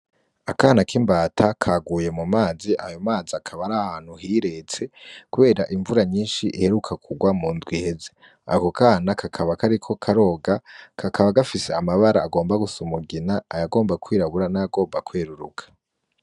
Akana k'imbata kaguye mu mazi ayo mazi akaba arahantu hiretse kubera invura nyinshi iheruka kugwa mundwi iheze, ako kana kakaba kariko karoga kakaba gafise amabara agomba gusa: umugina, ay'agomba kwirabura, n'ayagomba kweruruka.